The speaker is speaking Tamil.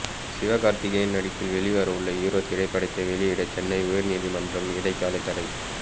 சிவகார்த்திகேயன் நடிப்பில் வெளிவரவுள்ள ஹீரோ திரைப்படத்தை வெளியிட சென்னை உயர்நீதிமன்றம் இடைக்கால தடை